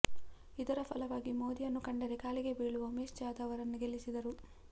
ಇದರ ಫಲವಾಗಿ ಮೋದಿಯನ್ನು ಕಂಡರೆ ಕಾಲಿಗೆ ಬೀಳುವ ಉಮೇಶ್ ಜಾಧವ್ ಅವರನ್ನು ಗೆಲ್ಲಿಸಿದರು